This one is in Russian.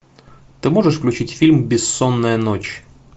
ты можешь включить фильм бессонная ночь